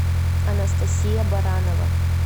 анастасия баранова